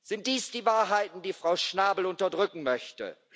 Sind dies die Wahrheiten, die Frau Schnabel unterdrücken möchte?